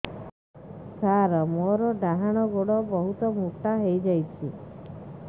ସାର ମୋର ଡାହାଣ ଗୋଡୋ ବହୁତ ମୋଟା ହେଇଯାଇଛି